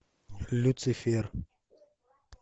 люцифер